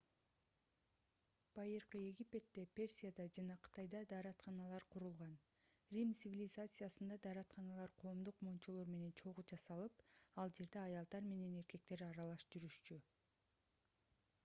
байыркы египетте персияда жана кытайда дааратканалар курулган рим цивилизациясында дааратканалар коомдук мончолор менен чогуу жасалып ал жерде аялдар менен эркектер аралаш жүрүшчү